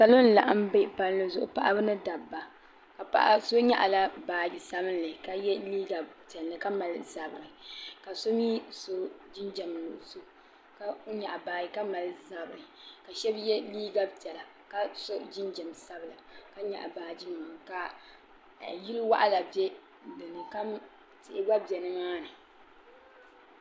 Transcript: Salo n-laɣim be palli zuɣu paɣiba ni dabba ka paɣa so nyaɣila baaji sabinli ka ye liiga piɛlli ka mali zabiri ka so mi so jinjam nuɣuso ka nyaɣi baaji ka mali zabiri ka shɛba ye liiga piɛla ka so jinjam sabila ka nyaɣi baajinima ka yili waɣila be dini ka tihi gba be nimaani.